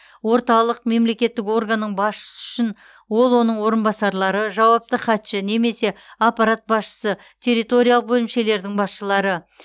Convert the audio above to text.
орталық мемлекеттік органның басшысы үшін ол оның орынбасарлары жауапты хатшы немесе аппарат басшысы территориялық бөлімшелердің басшылары